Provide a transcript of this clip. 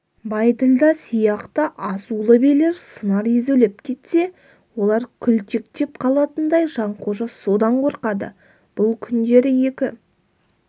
байділда сияқты азулы билер сыңар езулеп кетсе олар күлтектеп қалатындай жанқожа содан қорқады бұл күндері екі